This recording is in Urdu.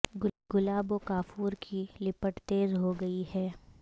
گلاب و کافور کی لپٹ تیز ہو گئی ہے